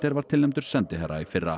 var tilnefndur sendiherra í fyrra